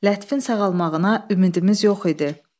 Lətifin sağalmağına ümidimiz yox idi.